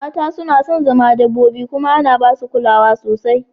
Mata suna son zama dabbobi kuma ana ba su kulawa sosai